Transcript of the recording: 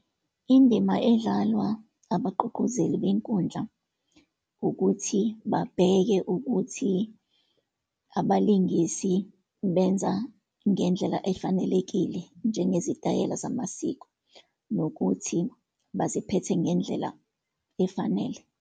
Indima edlalwa abaququzeli benkundla, ukuthi babheke ukuthi abalingisi benza ngendlela efanelekile, njengezitayela zamasiko, nokuthi baziphethe ngendlela efanele.